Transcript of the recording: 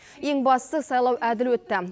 ең бастысы сайлау әділ өтті